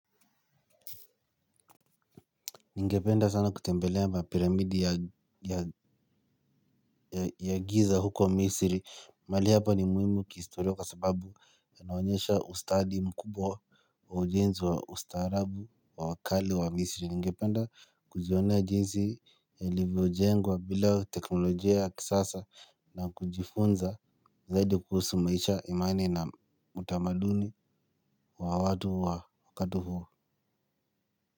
Ningependa sana kutembelea mapiramidi ya ya giza huko Misri. Mahali hapa ni muhimu kihistoria kwa sababu yanaonyesha ustadi mkubwa wa ujenzi wa ustaarabu wa wa kale wa Misri. Ningependa kujiona jinsi ilivyojengwa bila teknolojia ya kisasa na kujifunza zaidi kuhusu maisha imani na utamaduni wa watu wa wakati huo.